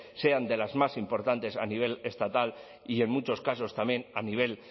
sean de las más importantes a nivel estatal y en muchos casos también a nivel